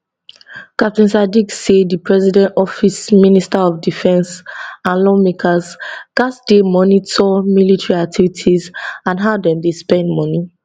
captain sadiq say di president office minister of defence and lawmakers gatz dey monitor military activities and how dem dey spend money